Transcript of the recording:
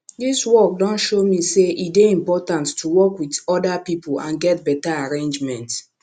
dis work don show me say e dey important to work wit oda pipo and get beta arrangement